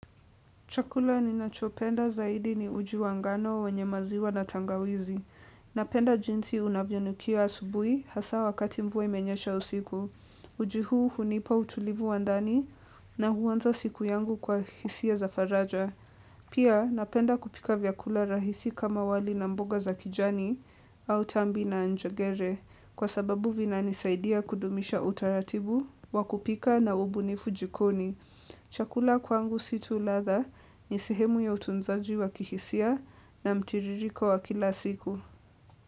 Chakula ninachopenda zaidi ni uji wa ngano wenye maziwa na tangawizi. Napenda jinsi unavyonukia asubuhi hasa wakati mvua imenyesha usiku. Uji huu hunipa utulivu wa ndani na huanza siku yangu kwa hisia za faraja. Pia napenda kupika vyakula rahisi kama wali na mboga za kijani au tambi na njagere. Kwa sababu vinanisaidia kudumisha utaratibu wa kupika na ubunifu jikoni. Chakula kwangu si tu ladha ni sihemu ya utunzaji wa kihisia na mtiririko wa kila siku.